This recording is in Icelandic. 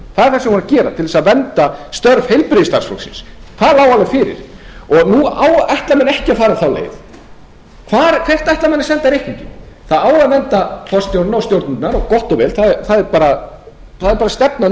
vorum að gera til að vernda störf heilbrigðisstarfsfólksins það lá alveg fyrir og nú ætla menn ekki að fara þá leið hvert ætla menn að senda reikninginn það á að vernda forstjórann og stjórnendurna gott og vel það er bara stefna